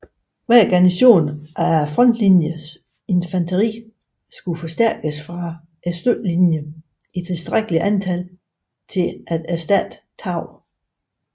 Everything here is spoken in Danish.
Hver garnison af frontlinje infanteri skulle forstærkes fra støttelinjen i tilstrækkeligt antal til at erstatte tab